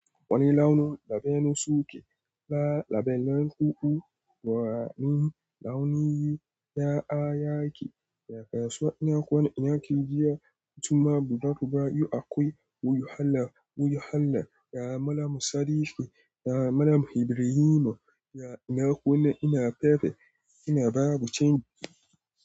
Wani launin labenu suke la labellan kuɓu, ranin launiyin ya'a yake, ya kaso ina kuna ina ke jiya, kuma budurwa yu akwai wuyu hallan wuyu hallan, ya malamu sadiƙi, ya malamu hibirino, ya ina kuna ina fefe ina babu cindi.